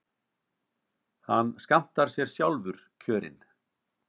Hann skammtar sér sjálfur kjörin.